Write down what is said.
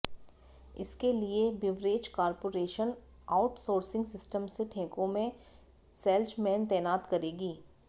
इसके लिए beverage corporation outsourcing system से ठेकों में सेल्जमैन तैनात करेगी